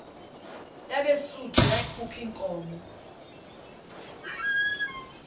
yabesuthu yakhuph iinkomo